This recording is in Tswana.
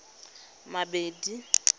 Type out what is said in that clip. madibe